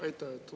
Aitäh!